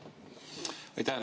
Aitäh!